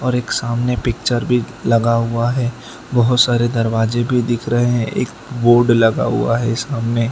सामने पिक्चर भी लगा हुआ है बहुत सारे दरवाजे भी दिख रहे हैं एक बोर्ड लगा हुआ है ये सामने।